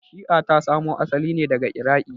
Shi'a ta samo asali ne daga Iraqi.